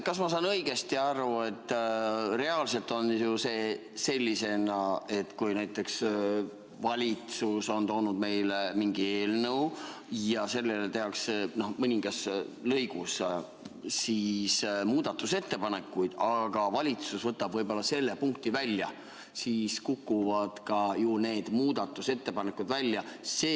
Kas ma saan õigesti aru, et reaalselt on see nii, et kui näiteks valitsus on toonud meile mingi eelnõu ja selle kohta tehakse mingis punktis muudatusettepanekuid, aga valitsus võtab selle punkti välja, siis kukuvad ka need muudatusettepanekud välja?